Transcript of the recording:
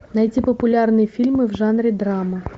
найти популярные фильмы в жанре драма